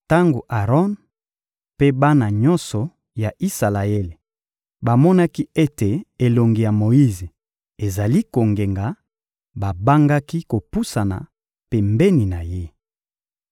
Tango Aron mpe bana nyonso ya Isalaele bamonaki ete elongi ya Moyize ezali kongenga, babangaki kopusana pembeni na ye.